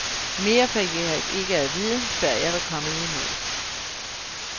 Mere fik jeg ikke at vide, før jeg var kommet i mål.